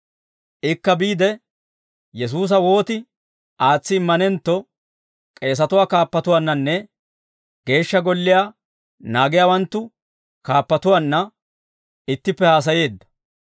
Ikka biide, Yesuusa wooti aatsi immanentto k'eesatuwaa kaappatuwaannanne geeshsha golliyaa naagiyaawanttu kaappatuwaanna ittippe haasayeedda.